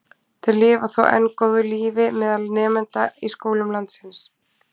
Þeir lifa þó enn góðu lífi meðal nemenda í skólum landsins.